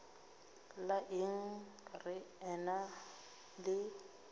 la eng re ena le